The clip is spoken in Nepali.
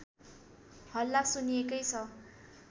हल्ला सुनिएकै छ